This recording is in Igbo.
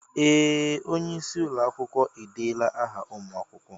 Ee! Onye isi ụlọ akwụkwọ edeela áhà ụmụ akwụkwọ.